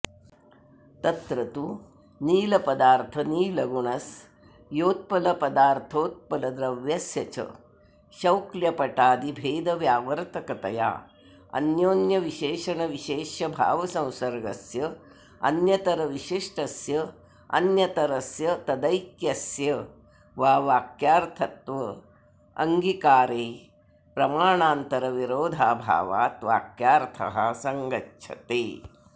तत्र तु नीलपदार्थनीलगुणस्योत्पलपदार्थोत्पलद्रव्यस्य च शौक्ल्यपटादिभेदव्यावर्तकतया अन्योन्यविशेषणविशेष्य भावसंसर्गस्य अन्यतरविशिष्टस्यान्यतरस्य तदैक्यस्य वा वाक्यार्थत्वाङ्गीकारे प्रमाणान्तरविरोधाभावात् वाक्यार्थः सङ्गच्छते